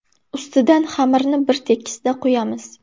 Ustidan xamirni bir tekisda quyamiz.